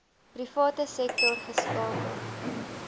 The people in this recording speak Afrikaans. private sektor geskakel